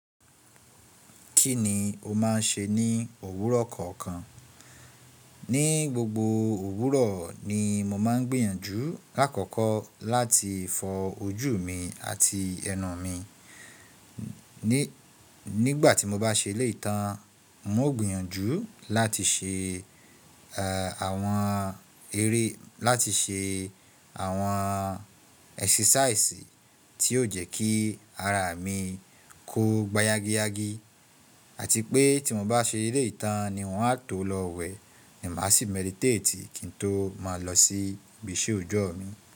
Kí ni o máà ń ṣe ní òwúrọ̀ kọ̀ ọ̀kan? Ní gbogbo òwúrọ̀ ni mo máa ń gbìyànjú lákọ̀ọ̀kọ́ láti fọ ojú mi àti ẹnu mi. Nígbà tí mo bá ṣe ilé ìtàn, mo gbìyànjú láti ṣe, ẹ́, àwọn eré, láti ṣe àwọn ẹ́sísáìsì tí yóò jẹ́ kí ara mi kó gbáyágiyági. Àti pé tí mo bá ṣe eleyi tàn ni won á tó lọ wẹ̀ ni màá sì mẹdiiteti kí n tó má lọ sí ibiṣẹ́ òjọ́ mi.